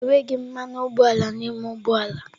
Enweghị mmanụ ụgbọala n'ime ụgbọ ala.